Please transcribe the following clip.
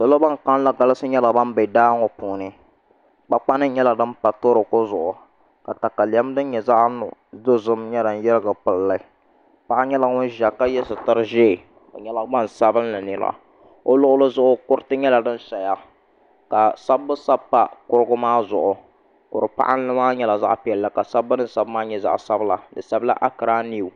Salo ban kanli galisi nyɛla bin bɛ daa ŋo puuni kpakpa nim gba nyɛla din pa toroko zuɣu ka katalɛm din nyɛ zaɣ dozim mii lahi yirigi pilli paɣa nyɛla ŋun ʒiya ka yɛ sitiri ʒiɛ o nyɛla gbansabinli nira o luɣuli zuɣu kuriti nyɛla din paya ka sabbu sabi pa kuriti maa zuɣu kuri paɣanli maa nyɛla zaɣ piɛlli ka sabbu din sabi maa nyɛ zaɣ sabila di sabila ankiraa niw